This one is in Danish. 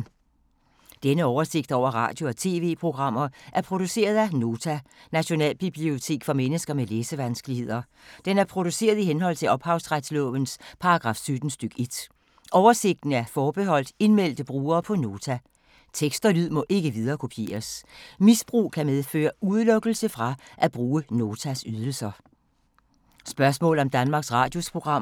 Denne oversigt over radio og TV-programmer er produceret af Nota, Nationalbibliotek for mennesker med læsevanskeligheder. Den er produceret i henhold til ophavsretslovens paragraf 17 stk. 1. Oversigten er forbeholdt indmeldte brugere på Nota. Tekst og lyd må ikke viderekopieres. Misbrug kan medføre udelukkelse fra at bruge Notas ydelser.